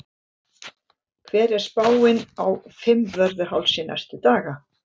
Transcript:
hver er spáin á fimmvörðuhálsi næstu daga